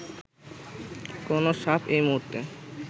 কোন সাপ এই মুহূর্তে